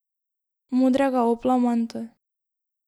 Modrega opla manto.